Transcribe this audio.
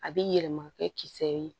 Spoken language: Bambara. A bɛ yɛlɛma kɛ kisɛ ye